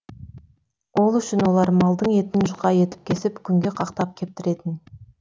ол үшін олар малдың етін жұқа етіп кесіп күнге қақтап кептіретін